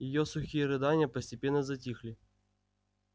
её сухие рыдания постепенно затихли